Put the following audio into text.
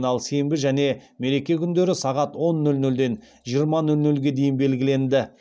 ал сенбі және мереке күндері сағат он нөл нөлден жиырма нөл нөлге дейін белгіленді